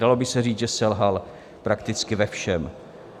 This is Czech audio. Dalo by se říct, že selhal prakticky ve všem.